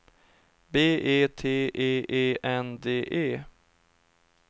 B E T E E N D E